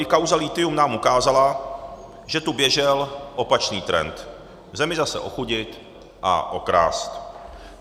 I kauza lithium nám ukázala, že tu běžel opačný trend - zemi zase ochudit a okrást.